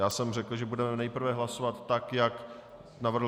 Já jsem řekl, že budeme nejprve hlasovat tak, jak navrhl...